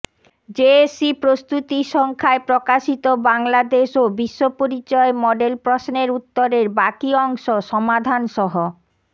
JSC প্রস্তুতি সংখ্যায় প্রকাশিত বাংলাদেশ ও বিশ্বপরিচয় মডেল প্রশ্নের উত্তরের বাকি অংশ সমাধানসহ